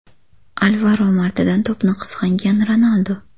Alvaro Moratadan to‘pni qizg‘angan Ronaldu.